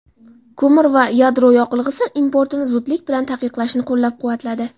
ko‘mir va yadro yoqilg‘isi importini zudlik bilan taqiqlashni qo‘llab-quvvatladi.